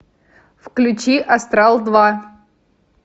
включи астрал два